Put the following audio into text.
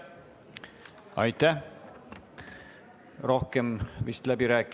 Aitäh!